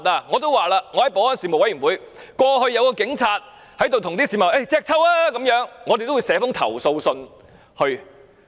我在保安事務委員會也說過，曾有警員叫市民"隻揪"，我們會代市民寫投訴信。